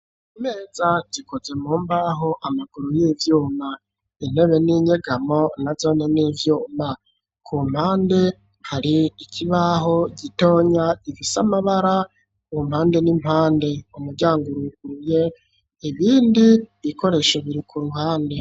Imeza zikoze mu mbaho amaguru y'ivyuma ,intebe n'inyegamo nazo n'ivyuma, ku mpande hari ikibaho gitonya gifisamabara kumpande n'impande umuryango uruguruye, ibindi bikoresho birik'uruhande.